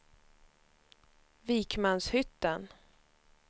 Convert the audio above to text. Vikmanshyttan